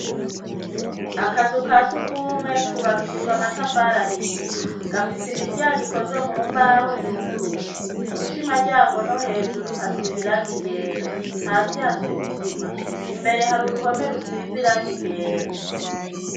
Akazu kasugwumwe kubakishijwe amatafari ahiye gafise imiryango ikozwe mumbaho yuguruye, kubishamaryango no hejuru hasiz'irangi ryera, hasi hasiz'isima imbere hari uruhome rusiz'irangi ryera.